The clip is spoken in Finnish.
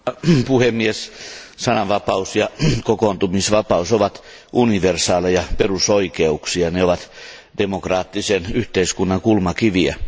Arvoisa puhemies, sananvapaus ja kokoontumisvapaus ovat universaaleja perusoikeuksia, ne ovat demokraattisen yhteiskunnan kulmakiviä.